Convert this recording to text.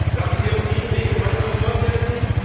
Lassen Sie uns diesen Weg gemeinsam fortsetzen.